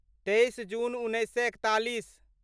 तेइस जून उन्नैस सए एकतालीस